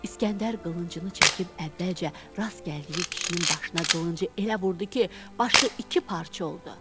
İsgəndər qılıncını çəkib əvvəlcə rast gəldiyi kişinin başına qılıncı elə vurdu ki, başı iki parça oldu.